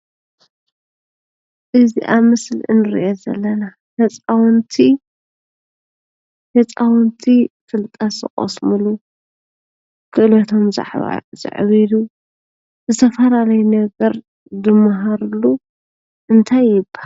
እዚ አብ ምስሊ እንሪኦ ዘለና ህፃውንቲ ፍልጠት ዝቐስምሉ፣ ክእለቶም ዘዕብይሉ ዝተፈላለዩ ነገር ዝመሃርሉ እንታይ ይበሃል?